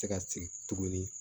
Se ka sigi tuguni